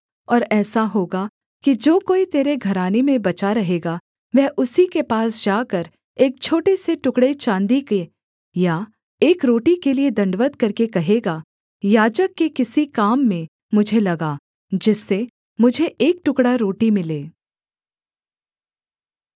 और ऐसा होगा कि जो कोई तेरे घराने में बचा रहेगा वह उसी के पास जाकर एक छोटे से टुकड़े चाँदी के या एक रोटी के लिये दण्डवत् करके कहेगा याजक के किसी काम में मुझे लगा जिससे मुझे एक टुकड़ा रोटी मिले